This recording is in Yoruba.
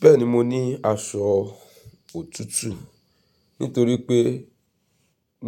Bẹ́ẹ̀ni mo ní aṣọ òtútù nítorí pé